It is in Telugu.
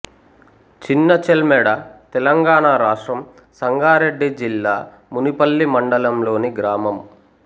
చిన్నచెల్మెడ తెలంగాణ రాష్ట్రం సంగారెడ్డి జిల్లా మునిపల్లి మండలంలోని గ్రామం